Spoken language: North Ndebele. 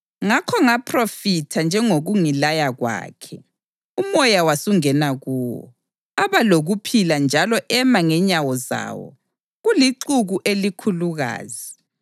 Ngakho ngaphrofitha njengokungilaya kwakhe, umoya wasungena kuwo; aba lokuphila njalo ema ngenyawo zawo, kulixuku elikhulukazi.